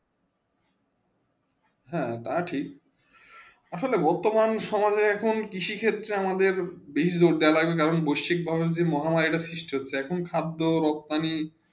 হেঁ তাই ঠিক আসলে বর্তমান সময়ে আমাদের কৃষি ক্ষেত্রে বেশি জোর দেয়া লাগবে কেন কেন বেশ্বিক ভাবে মহামারী রিস্ট হয়ে লাগছে আখন খাদ রকথানে